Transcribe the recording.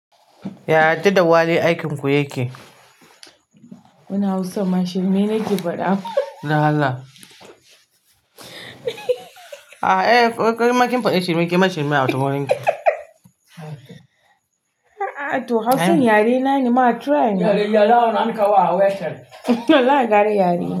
Yari da Wale aikin ku yake? Wannan Hausan ma shirme yake fada dan Allah Eh in kin fade shirme kema shirme a ta wurinki. A'a to Hausan yare na ne, ma try ma Yara yara awon an kawo a wayar. Wallahi gara yare na.